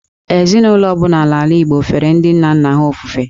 Ezinụlọ ọ bụla n’ala Igbo fere ndị nna nna ha ofufe.